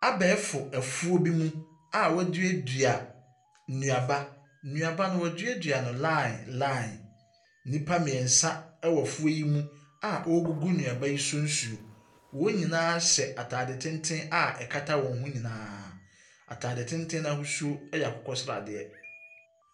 Abɛɛfo afuo bi mu a wɔaduadua nnuaba. Nnuaba no, wɔaduadua no line line. Nnipa mmeɛnsa wɔ afuo yi mu awɔregugu nnuaba yi so nsuo. Wɔn nyinaa hyɛ atade tenten a ɛkata wɔn ho nyinaa. Atade tenten no ahosuo yɛ akokɔsradeɛ.